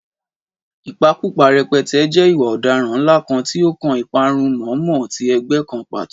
Ìpakúpa Rẹpẹtẹ jẹ́ ìwà ọ̀daràn ńlá kan tí ó kan ìparun mọ̀ọ́mọ̀ ti ẹgbẹ́ kan pàtó.